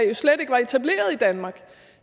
jo slet ikke var etableret i danmark